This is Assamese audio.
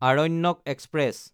আৰণ্যক এক্সপ্ৰেছ